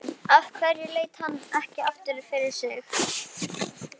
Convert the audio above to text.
Af hverju leit hann ekki aftur fyrir sig?